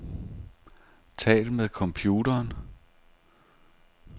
Tal med computeren.